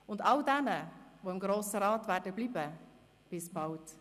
Und all jenen, die im Grossen Rat bleiben werden, sage ich: bis bald!